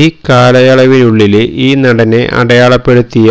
ഈ കാലയളവിനുള്ളില് ഈ നടനെ അടയാളപ്പെടുത്തിയ